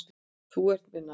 Þú ert mér nær.